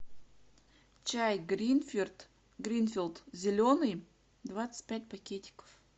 чай гринфилд зеленый двадцать пять пакетиков